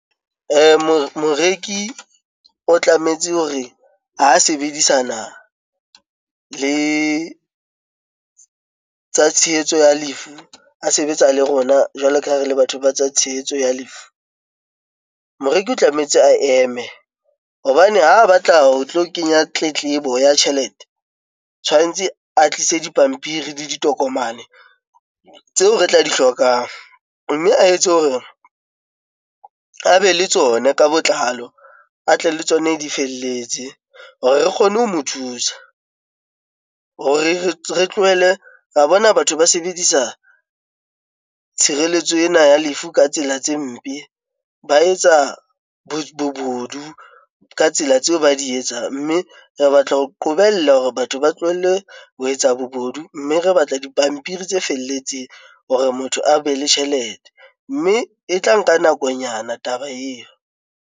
Moreki o tlametse hore ha sebedisana le tsa tshehetso ya lefu, a sebetsa le rona jwalo ka ha re le batho ba tsa tshehetso ya lefu. Moreki o tlametse a eme hobane ha batla ho tlo kenya tletlebo ya tjhelete, tshwantse a tlise dipampiri le ditokomane tseo re tla di hlokang. Mme a etse hore a be le tsona ka botlalo, a tle le tsona di felletse hore re kgone ho mo thusa hore re tlohele, ra bona batho ba sebedisa tshireletso ena ya lefu ka tsela tse mpe. Ba etsa bobodu ka tsela tseo ba di etsang mme re batla ho qobella hore batho ba tlohelle ho etsa bobodu. Mme re batla dipampiri tse felletseng hore motho a be le tjhelete, mme e tla nka nakonyana taba eo.